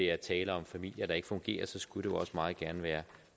er tale om familier der ikke fungerer skulle det jo også meget gerne være